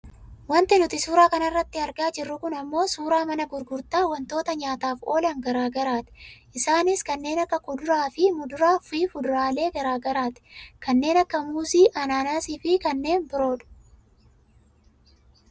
Wanti nuti suuraa kanarratti argaa jirru kun ammoo suuraa mana gurgurtaa wantoota nyaataaf oolan gara garaati. Isaanis kanneen akka kuduraa, muduraa, fi fudaraalee gara garaati. kanneen akka muuzii, ananaasiifi kanneen biroodha.